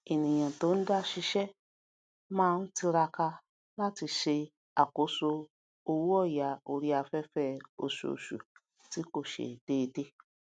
ènìyàn tó n da sisé máà n tiraka láti se àkóso owóòyà orí aféfé osoòsù tí kò se déédé